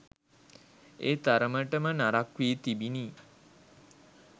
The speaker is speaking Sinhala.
ඒ තරමටම නරක්‌ වී තිබිණි